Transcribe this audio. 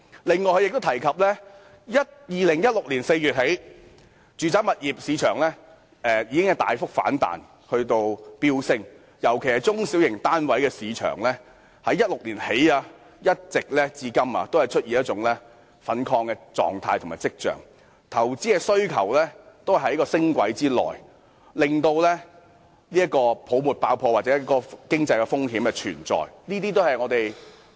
此外，政府亦提及，自2016年4月起，住宅物業市場已經大幅反彈，尤其是中小型單位的市場在2016年起至今一直出現一種亢奮跡象，投資的需求都在升軌之內，令到泡沫爆破或經濟風險存在。